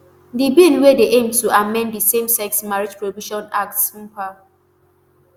di bill wey dey aim to amend di samesex marriage prohibition act ssmpa